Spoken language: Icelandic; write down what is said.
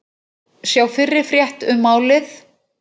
Sjá fyrri frétt um málið